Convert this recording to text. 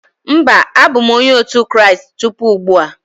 Mba, abụ m Onye otu Kraịst tupu ugbu a.